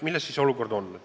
Milles siis asi on?